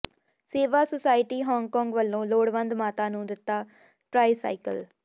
ਸੇਵਾ society Hong Kong ਵੱਲੋਂ ਲੋੜਵੰਦ ਮਾਤਾ ਨੂੰ ਦਿੱਤਾ ਟਰਾਈਸਾਈਕਲ